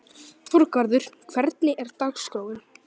Þorgarður, hvernig er dagskráin?